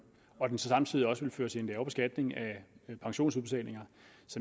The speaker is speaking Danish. og den så samtidig også ville føre til en lavere beskatning af pensionsudbetalinger